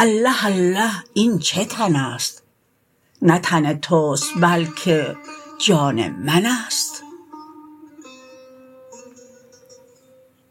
الله الله این چه تنست نه تن تست بلکه جان منست